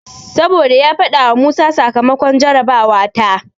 Saboda ya faɗawa Musa sakamakon jarabawa ta.